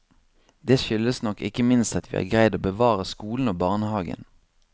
Det skyldes nok ikke minst at vi har greid å bevare skolen og barnehagen.